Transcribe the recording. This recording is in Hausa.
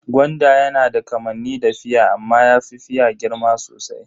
Gwanda yana da kamanni da fia amma yafi fia girma sosai.